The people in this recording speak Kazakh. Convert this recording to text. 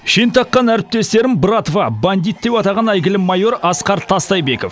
шен таққан әріптестерін братва бандит деп атаған әйгілі майор асқар тастайбеков